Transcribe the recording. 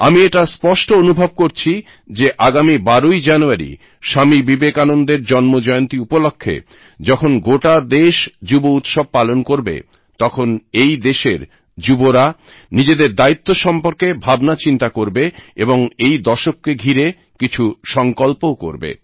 আমি এটা স্পষ্ট অনুভব করছি যে আগামী 12ই জানুয়ারি স্বামী বিবেকানন্দের জন্মজয়ন্তী উপলক্ষ্যে যখন গোটা দেশ যুব দিবস পালন করবে তখন এই দেশের যুবরা নিজেদের দায়িত্ব সম্পর্কে ভাবনা চিন্তা করবে এবং এই দশককে ঘিরে কিছু সংকল্পও করবে